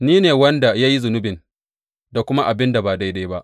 Ni ne wanda ya yi zunubin da kuma abin da ba daidai ba.